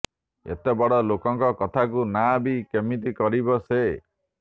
ଏତେ ବଡ଼ ଲୋକଙ୍କ କଥାକୁ ନାଁ ବି କେମିତି କରିବ ସେ